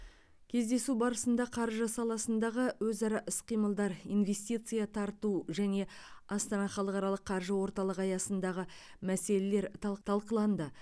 кездесу барысында қаржы саласындағы өзара іс қимылдар инвестиция тарту және астана халықаралық қаржы орталығы аясындағы мәселелер талқ талқыланды